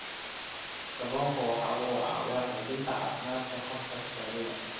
Kalluunku waxa uu caawiyaa xoojinta caafimaadka habka kaadida.